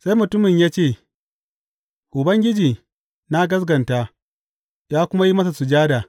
Sai mutumin ya ce, Ubangiji, na gaskata, ya kuma yi masa sujada.